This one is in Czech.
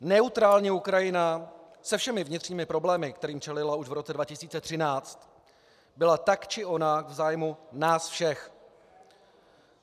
Neutrální Ukrajina se všemi vnitřními problémy, kterým čelila už v roce 2013, byla tak či onak v zájmu nás všech.